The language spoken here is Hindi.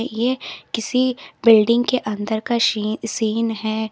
यह किसी बिल्डिंग के अंदर का शी है।